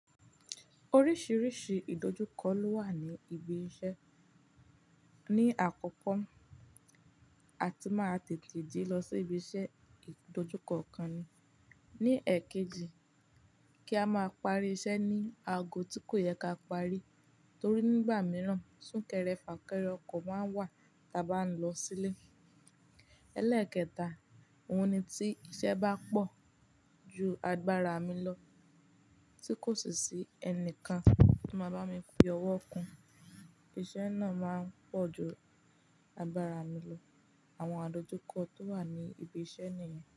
Oríṣiríṣi ìdojúkọ ló wà ní ibi iṣẹ́. Ni àkọ́kọ́, a ti máa tètè dé lọ sí ibi iṣẹ́ ìdojúkọ kan. Ni èkejì, kí a máa parí iṣẹ́ ní aago tí kò yẹ ká parí, torí nígbà mìíràn súnkẹrẹ fà kẹrẹ ọkọ̀ máa wà tí a bá ń lọ sílé. Elẹ́ẹ̀kẹta, òun ni tí iṣẹ́ bá pọ̀ ju agbára mi lọ, tí kò sì sí ẹnìkan tó máa bá mi fi ọwọ́ kun. Iṣẹ́ náà máa pọ̀ ju agbára mi lọ. Àwọn àdojúkọ tó wà ní ibi iṣẹ́ ni.